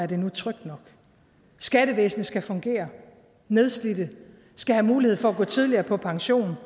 det nu er trygt nok skattevæsenet skal fungere nedslidte skal have mulighed for gå tidligere på pension